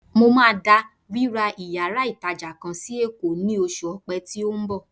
Mo máa da ríra yàrá ìtàjà kan sí Èkó nínú oṣù Ọpẹ́ tí ó ń bọ̀.